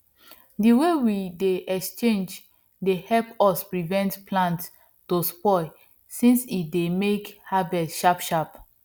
the way we dey exchange dey help us prevent plant to spoil since e dey make harvest sharp sharp